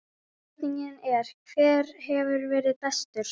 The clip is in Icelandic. Spurningin er: Hver hefur verið bestur?